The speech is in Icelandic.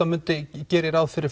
geri ég ráð fyrir